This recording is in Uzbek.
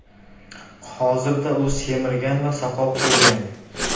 Hozirda u semirgan va soqol qo‘ygan.